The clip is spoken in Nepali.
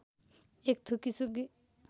एक थुकी सुकी